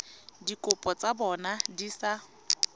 dikopo tsa bona di sa